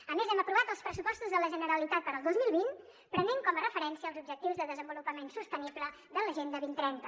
a més hem aprovat els pressupostos de la generalitat per al dos mil vint prenent com a referència els objectius de desenvolupament sostenible de l’agenda dos mil trenta